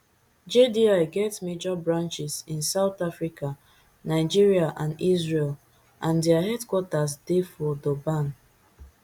jdi get major branches in south africa nigeria and israel and dia headquarters dey for durban